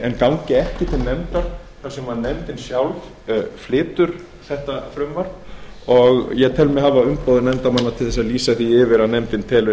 en gangi ekki til nefndar þar sem nefndin sjálf flytur þetta frumvarp og ég tel mig hafa umboð nefndarmanna til þess að lýsa því yfir að nefndin telur